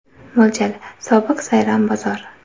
Mo‘ljal: sobiq Sayram bozor.